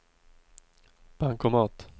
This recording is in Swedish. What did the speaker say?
bankomat